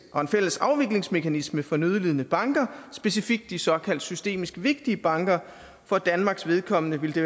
og en fælles afviklingsmekanisme for nødlidende banker specifikt de såkaldt systemisk vigtige banker for danmarks vedkommende ville det